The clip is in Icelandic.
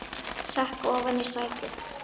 Sekk ofan í sætið.